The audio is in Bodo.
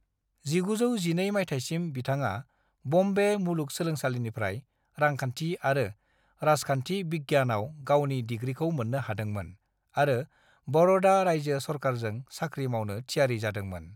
"1912 माइथायसिम, बिथाङा बम्बे मुलुगसोलोंसालिनिफ्राय रांखान्थि आरो राजखान्थि विज्ञानयाव गावनि डिग्रीखौ मोन्नो हादोंमोन आरो बड़ौदा रायजो सरकारजों साख्रि मावनो थियारि जादोंमोन।"